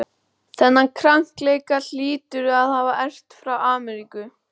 Þennan krankleika hlýturðu að hafa erft frá Ameríku.